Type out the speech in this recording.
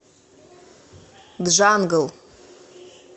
джангл